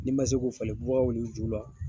Ni ma se ko falen bubagaw ni jiw la.